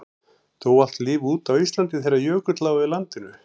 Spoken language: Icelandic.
dó allt líf út á íslandi þegar jökull lá yfir landinu